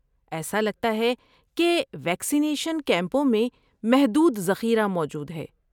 ایسا لگتا ہے کہ ویکسینیشن کیمپوں میں محدود ذخیرہ موجود ہے۔